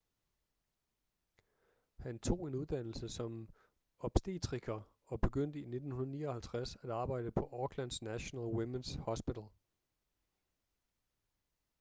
han tog en uddannelse som obstetriker og begyndte i 1959 at arbejde på aucklands national women's hospital